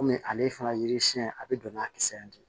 Kɔmi ale fana yiri siɲɛn a bɛ don n'a kisɛ ye